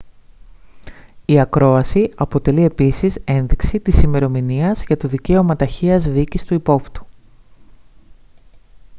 η ακρόαση αποτελεί επίσης ένδειξη της ημερομηνίας για το δικαίωμα ταχείας δίκης του υπόπτου